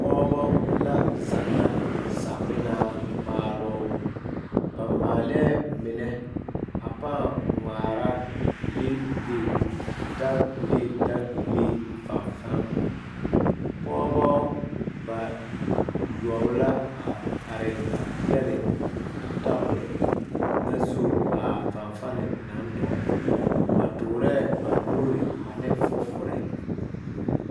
Pɔgebo la zanna samina maalo ba moŋa mine a paa ŋmaare bile bile daga bile fanfani pɔgebo bayoɔbo la are a pegle a tabol a tabol na zu a fanfani naŋ dɔgle ba tuure ba nuure ane fofore.